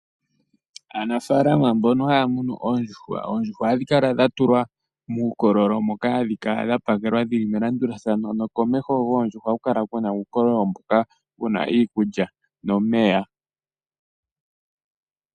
Aanafalama mbono haya munu oondjuhwa, ohadhi kala dha tulwa muukololo, moka hadhi kala dha tulwa dhi li melandulathano, nokomeho goondjuhwa ohaku kala kuuna uukololo mboka wu na iikulya nomeya.